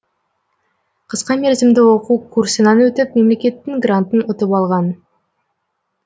қысқа мерзімді оқу курсынан өтіп мемлекеттің грантын ұтып алған